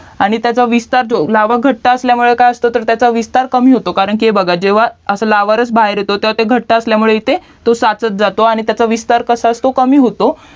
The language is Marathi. आणि विस्तार लावा घट्ट असल्यामुळे काय असतं तर त्याचा विस्तार कमी होतो हे बघा जेव्हा लावरस बाहेर येतो ते घट्ट असल्यामुळे ते सचात जातो आणि त्याचा विस्तार कमी होतो